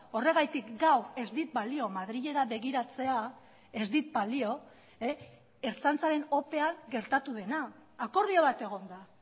horregatik gaur ez dit balio madrilera begiratzea ez dit balio ertzaintzaren opean gertatu dena akordio bat egon da